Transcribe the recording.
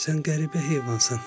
Sən qəribə heyvansan.